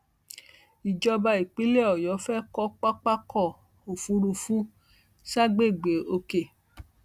ìjọba ìpínlẹ ọyọ fẹẹ kọ pápákọ òfurufú ságbègbè òkè